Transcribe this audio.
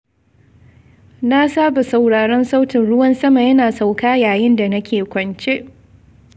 Na saba sauraron sautin ruwan sama yana sauƙa yayin da nake kwance.